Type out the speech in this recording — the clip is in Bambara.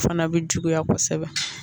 Fana bɛ juguya kosɛbɛ